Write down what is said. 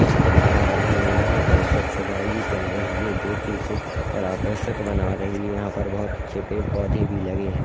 Dust बना रहे है यहाँ पर स्वछ वायु चल रही है जो की इसे और आकर्षक बना रही है यहा पर बोत अच्छे पेड़ पोदे भी लगे है।